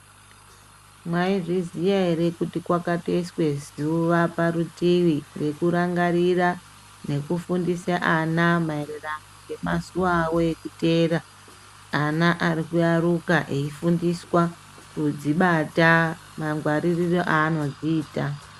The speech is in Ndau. Mwaizviziya ere kuti kwakatoiswa zuwa parutivi rekurangarira nekufundise ana maererano nemazuwa avo ekuteerq ana ari kuyaruka eifundiswa kudzibata mangwaririro aanodziita.